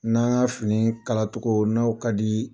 N'an ka fini kalatogo n'o ka dii